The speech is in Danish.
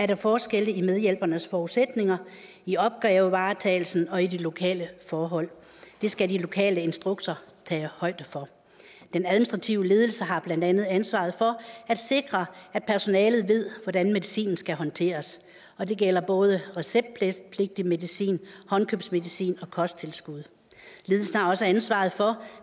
der forskelle i medhjælpernes forudsætninger i opgavevaretagelsen og i de lokale forhold det skal de lokale instrukser tage højde for den administrative ledelse har blandt andet ansvaret for at sikre at personalet ved hvordan medicinen skal håndteres og det gælder både receptpligtig medicin håndkøbsmedicin og kosttilskud ledelsen har også ansvaret for